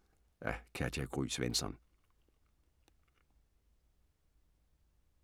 Af Katja Gry Svensson